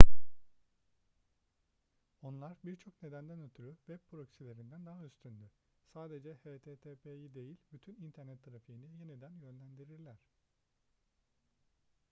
onlar birçok nedenden ötürü web proxylerinden daha üstündür sadece http'yi değil bütün internet trafiğini yeniden yönlendirirler